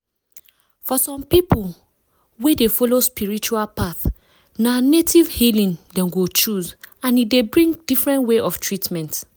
for some people wey dey follow spiritual path na native healing dem go choose and e dey bring different way of treatment.